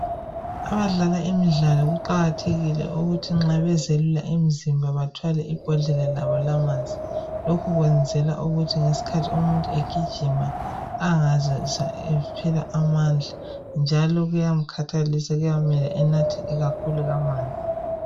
Abadlala imidlalo kuqakathekile ukuthi nxa bezelula imizimba bathwale ibhodlela labo lamanzi lokhu kwenzela ukuthi ngesikhathi umuntu egijima angazizwa ephela amandla njalo kuyamkhathalisa kuyamele anathe kakhulu amanzi